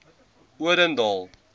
odendaal